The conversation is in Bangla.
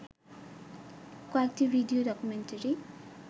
কয়েকটি ভিডিও ডকুমেন্টারি